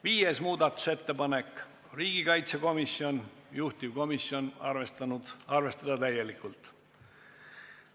5. muudatusettepaneku on esitanud riigikaitsekomisjon ja juhtivkomisjon on seda arvestanud täielikult.